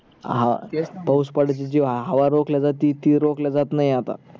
ह पावूस पडायची जी हवा रोखल्या जाते ती रोखल्या जात नाही आता